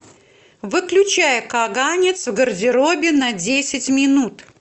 выключай каганец в гардеробе на десять минут